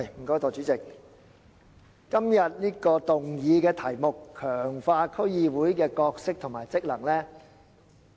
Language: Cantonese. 代理主席，今天議案的題目是："強化區議會的角色及職能"。